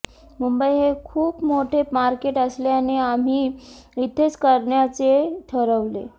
मुंबई हे खूप मोठे मार्केट असल्याने आम्ही इथेच करण्याचे ठरवले